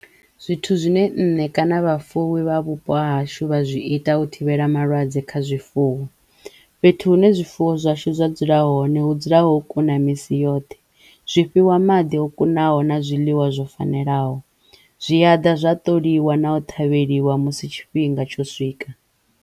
Zwithu zwine nṋe kana vhafuwi vha vhupo hashu vha zwi ita u thivhela malwadze kha zwifuwo fhethu hune zwifuwo zwashu zwa dzula hone hu dzula ho kuna misi yoṱhe, zwifhiwa maḓi o kunaho na zwiḽiwa zwo fanelaho, zwi ya ḓa zwa ṱoliwa na u ṱhavheliwa musi tshifhinga tsho swika.